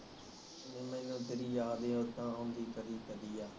ਨੀ ਮੈਨੂੰ ਤੇਰੀ ਯਾਦ ਤਾ ਆਉਦੀ ਕੇਦੇ ਕੇਦੇ ਆ